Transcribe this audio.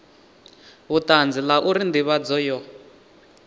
vhutanzi la uri ndivhadzo yo